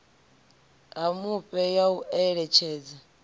ha mufhe ya u eletshedza